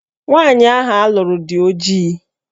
Nwaanyi ahụ alụrụ dị ojii